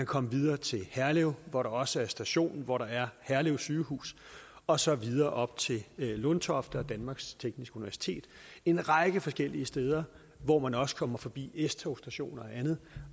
komme videre til herlev hvor der også er station hvor der er herlev sygehus og så videre op til lundtofte og danmarks tekniske universitet en række forskellige steder hvor man også kommer forbi s togsstationer og andet